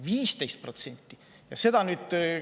15%!